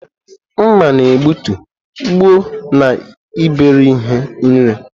Mma na-egbutu, gbue, na iberi ihe nri.